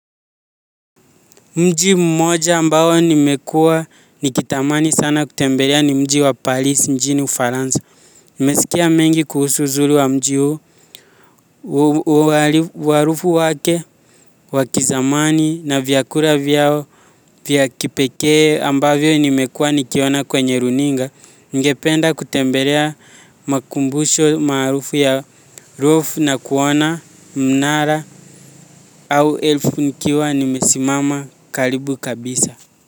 Mji mmoja ambao nimekuwa nikitamani sana kutembelea ni mji wa paris mjini Ufaransa. Nimesikia mengi kuhusu uzuri wa mji huo umaarufu wake wakizamani na vyakula vyao vya kipekee ambavyo nimekuwa nikiona kwenye runinga. Ningependa kutembelea makumbusho maarufu na kuona mnara au elfu nikiwa nimesimama karibu kabisa. Kwa hivyo.